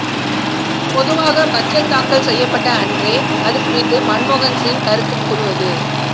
பொதுவாக பட்ஜெட் தாக்கல் செய்யப்பட்ட அன்றே அது குறித்து மன்மோகன் சிங் கருத்து கூறுவது